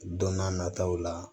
Don n'a nataw la